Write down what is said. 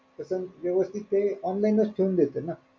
कस व्यवस्थित ते online च ठेवून देत ना.